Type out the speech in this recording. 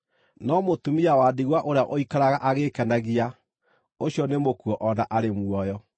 No mũtumia wa ndigwa ũrĩa ũikaraga agĩĩkenagia, ũcio nĩ mũkuũ o na arĩ muoyo.